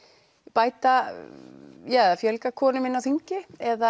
bæta eða fjölga konum inni á þingi eða